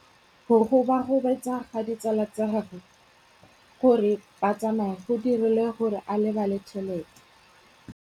Go gobagobetsa ga ditsala tsa gagwe, gore ba tsamaye go dirile gore a lebale tšhelete.